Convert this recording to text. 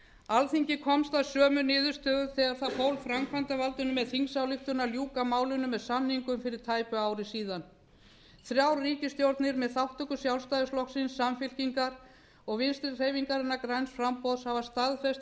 alþingi komst að sömu niðurstöðu þegar það fól framkvæmdarvaldinu með þingsályktun að ljúka málinu með samningum fyrir tæpu ári þrjár ríkisstjórnir með þátttöku sjálfstæðisflokksins samfylkingar og vinstri hreyfingarinnar græns framboðs hafa staðfest